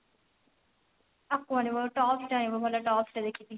ଆଉ କଣ ଆଣିବ tops ଟେ ଆଣିବ କହିଲା tops ଟେ ଦେଖିଛି